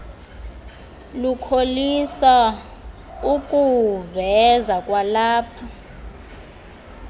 lukholisa ukuwuveza kwalapha